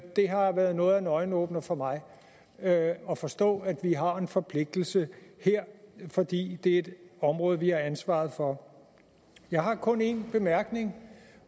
har været noget af en øjenåbner for mig at at forstå at vi har en forpligtelse her fordi det er et område vi har ansvaret for jeg har kun en bemærkning